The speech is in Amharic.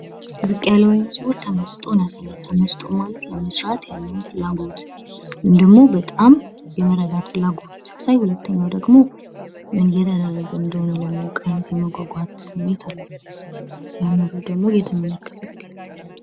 የአስተማሪዎች ሚና ተማሪዎችን በማነሳሳት፣ በመምራትና ዕውቀት እንዲገብዩ በማድረግ የትምህርት ስኬትን ማረጋገጥ ነው።